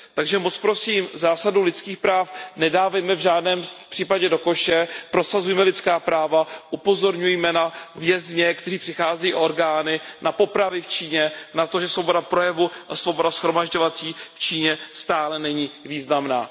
Takže moc prosím, zásadu lidských práv nedávejme v žádném případě do koše, prosazujme lidská práva, upozorňujme na vězně, kteří přicházejí o orgány, na popravy v Číně, na to, že svoboda projevu a svoboda shromažďovací v Číně stále není významná.